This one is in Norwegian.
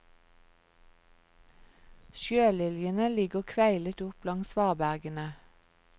Sjøliljene ligger kveilet opp langs svabergene.